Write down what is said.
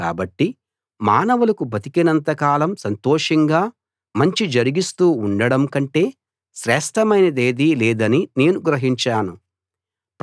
కాబట్టి మానవులకు బతికినంత కాలం సంతోషంగా మంచి జరిగిస్తూ ఉండడం కంటే శ్రేష్ఠమైనదేదీ లేదని నేను గ్రహించాను